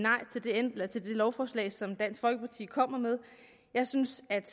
nej til det lovforslag som dansk folkeparti kommer med jeg synes at